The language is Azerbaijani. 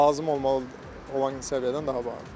Lazım olmalı olan səviyyədən daha bahadır.